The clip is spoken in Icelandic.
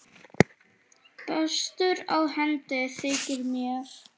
Bestur á hendi þykir mér.